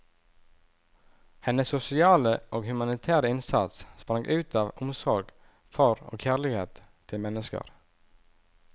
Hennes sosiale og humanitære innsats sprang ut av omsorg for og kjærlighet til mennesker.